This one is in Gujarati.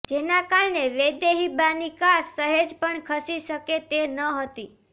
જેના કારણે વૈદેહીબાની કાર સહેજ પણ ખસી શકે તે ન હતી